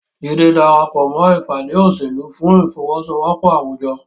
Jide darapọ̀ mọ́ ìpàdé òṣèlú fún ìfọwọ́sowọ́pọ̀ àwùjọ.